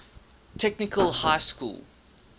technical high school